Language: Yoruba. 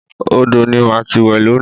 Odò ni màá ti wẹ̀ lónìí